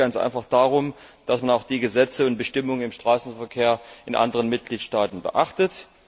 Es geht ganz einfach darum, dass man auch die Gesetze und Bestimmungen im Straßenverkehr in anderen Mitgliedstaaten beachtet.